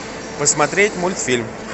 посмотреть мультфильм